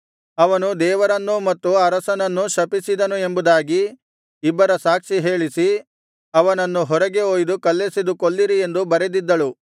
ಅವನು ದೇವರನ್ನೂ ಮತ್ತು ಅರಸನನ್ನೂ ಶಪಿಸಿದನು ಎಂಬುದಾಗಿ ಇಬ್ಬರ ಸಾಕ್ಷಿ ಹೇಳಿಸಿ ಅವನನ್ನು ಹೊರಗೆ ಒಯ್ದು ಕಲ್ಲೆಸೆದು ಕೊಲ್ಲಿರಿ ಎಂದು ಬರೆದಿದ್ದಳು